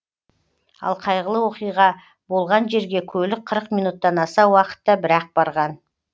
ал қайғылы оқиға болған жерге көлік қырық минуттан аса уақытта бір ақ барған